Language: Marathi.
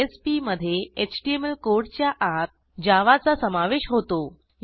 JSPमधे HTMLकोडच्या आत जावा चा समावेश होतो